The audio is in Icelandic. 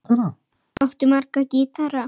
Áttu marga gítara?